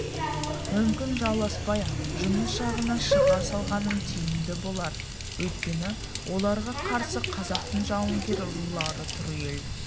мүмкін жауласпай-ақ жұныс жағына шыға салғаным тиімді болар өйткені оларға қарсы қазақтың жауынгер рулары тұр ел